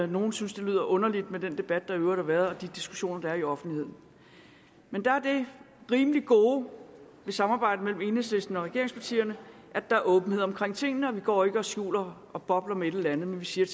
nogle synes det lyder underligt med den debat der i øvrigt har været og de diskussioner der er i offentligheden men der er det rimelig gode i samarbejdet mellem enhedslisten og regeringspartierne at der er åbenhed om tingene og vi går ikke og skjuler og bobler men vi siger